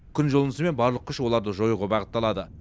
күн жылынысымен барлық күш оларды жоюға бағытталады